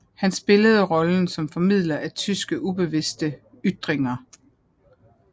Han spillede rollen som formidler af tyskernes ubevidste ytringer